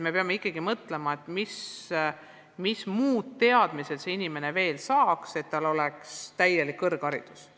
Me peame ikkagi mõtlema, et mis muud teadmised viipekeeletõlk veel võiks omandada, et tal oleks täielik kõrgharidus.